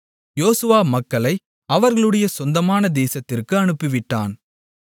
யோசுவா மக்களை அவரவர்களுடைய சொந்தமான தேசத்திற்கு அனுப்பிவிட்டான்